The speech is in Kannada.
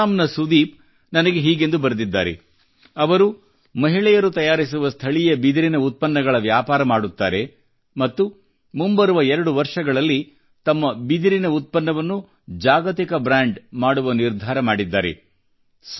ಅಸ್ಸಾಂ ನ ಸುದೀಪ್ ನನಗೆ ಹೀಗೆಂದು ಬರೆದಿದ್ದಾರೆ ಅವರು ಮಹಿಳೆಯರು ತಯಾರಿಸುವ ಸ್ಥಳೀಯ ಬಿದಿರಿನ ಉತ್ಪನ್ನಗಳ ವ್ಯಾಪಾರ ಮಾಡುತ್ತಾರೆ ಮತ್ತು ಮುಂಬರುವ 2 ವರ್ಷಗಳಲ್ಲಿ ತಮ್ಮ ಬಿದಿರಿನ ಉತ್ಪನ್ನವನ್ನು ಜಾಗತಿಕ ಬ್ರ್ಯಾಂಡ್ ಮಾಡುವ ನಿರ್ಧಾರ ಮಾಡಿದ್ದಾರೆ